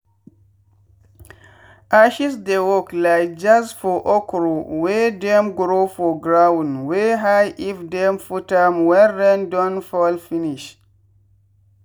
ashes dey work like jazz for okro wey dem grow for ground wey high if dem put am wen rain don fall finish.